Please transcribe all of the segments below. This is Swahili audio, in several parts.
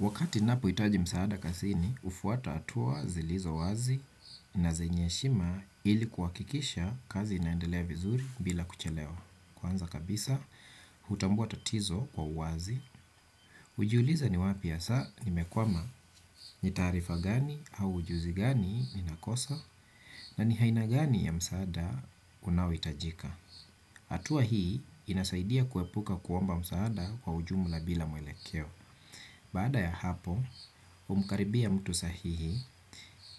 Wakati ninapohitaji msaada kazini, hufuata hatua zilizo wazi na zenye heshima ili kuhakikisha kazi inaendelea vizuri bila kuchelewa. Kwanza kabisa, hutambua tatizo kwa uwazi. Hujiuliza ni wapi hasa, nimekwama, ni taarifa gani au ujuzi gani inakosa, na ni aina gani ya msaada unaohitajika. Hatua hii inasaidia kuepuka kuomba msaada kwa ujumla bila mwelekeo. Baada ya hapo, humkaribia mtu sahihi,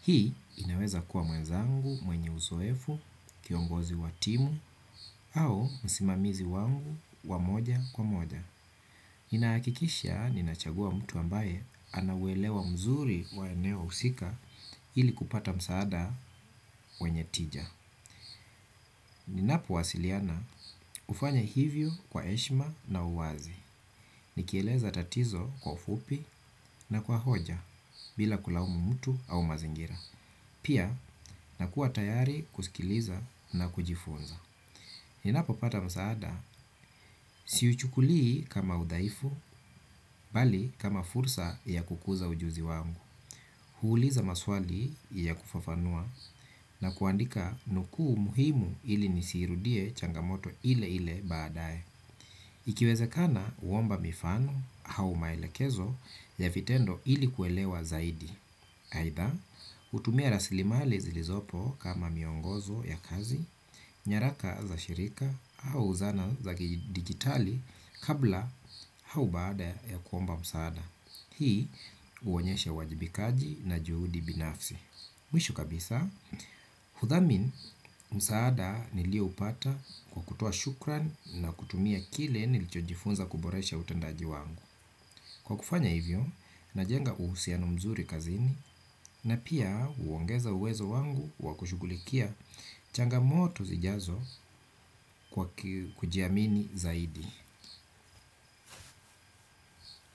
hii inaweza kuwa mwenzangu mwenye uzoefu, kiongozi wa timu au msimamizi wangu wa moja kwa moja. Ninahakikisha ninachagua mtu ambaye ana uelewa mzuri wa eneo husika ili kupata msaada wenye tija. Ninapowasiliana hufanya hivyo kwa heshima na uwazi. Nikieleza tatizo kwa ufupi na kwa hoja bila kulaumu mtu au mazingira. Pia, nakuwa tayari kusikiliza na kujifunza. Ninapopata msaada, siuchukulii kama udhaifu, bali kama fursa ya kukuza ujuzi wangu. Huuliza maswali ya kufafanua na kuandika nukuu muhimu ili nisiirudie changamoto ile ile baadaye. Ikiwezekana huomba mifano au maelekezo ya vitendo ili kuelewa zaidi. Aidha, hutumia rasilimali zilizopo kama miongozo ya kazi, nyaraka za shirika au zana za kidijitali kabla au baada ya kuomba msaada. Hii huonyesha uwajibikaji na juhudi binafsi. Mwisho kabisa, hudhamini msaada nilioupata kwa kutoa shukrani na kutumia kile nilichojifunza kuboresha utendaji wangu. Kwa kufanya hivyo, najenga uhusiano mzuri kazini na pia huongeza uwezo wangu wa kushugulikia changamoto zijazo kwa kujiamini zaidi.